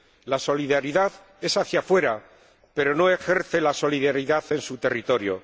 La solidaridad es hacia fuera, pero no ejerce la solidaridad en su territorio.